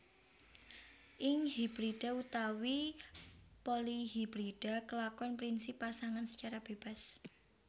Ing hibrida utawi polihibrida kelakon prinsip Pasangan secara bebas